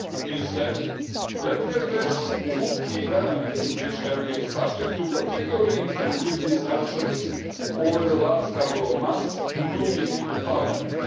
Instead, let me address two key elements which have been subject to particularly intensive discussions over the last couple of months, including in Parliament.